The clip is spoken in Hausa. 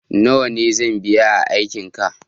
nawa ne zan biya aiki ka